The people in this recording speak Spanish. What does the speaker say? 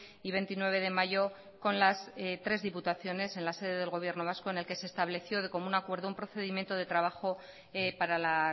y veintinueve de mayo con las tres diputaciones en la sede del gobierno vasco en el que se estableció de común acuerdo un procedimiento de trabajo para la